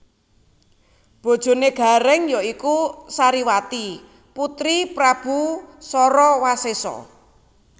Bojoné Garèng ya iku Sariwati putri Prabu Sarawasésa